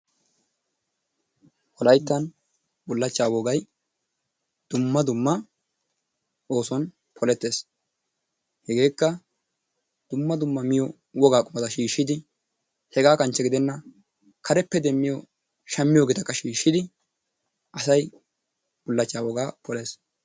Wolayittan bullachchaa wogayi dumma dumma oosuwan polettes. Hegeekka dumma dumma miyo wogaa qumata shiishshidi hegaa kanchche gidenna kareppe demmiyo shammiyoogeetakka shiishshidi asay bullachchaa wogaa polees.